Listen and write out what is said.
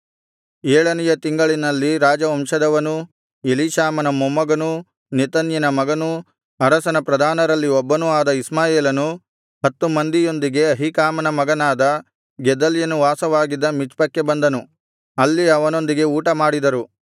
ಏಳನೆಯ ತಿಂಗಳಿನಲ್ಲಿ ರಾಜವಂಶದವನೂ ಎಲೀಷಾಮನ ಮೊಮ್ಮಗನೂ ನೆತನ್ಯನ ಮಗನೂ ಅರಸನ ಪ್ರಧಾನರಲ್ಲಿ ಒಬ್ಬನೂ ಆದ ಇಷ್ಮಾಯೇಲನು ಹತ್ತು ಮಂದಿಯೊಂದಿಗೆ ಅಹೀಕಾಮನ ಮಗನಾದ ಗೆದಲ್ಯನು ವಾಸವಾಗಿದ್ದ ಮಿಚ್ಪಕ್ಕೆ ಬಂದನು ಅಲ್ಲಿ ಅವನೊಂದಿಗೆ ಊಟಮಾಡಿದರು